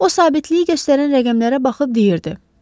O, sabitlik göstərən rəqəmlərə baxıb deyirdi.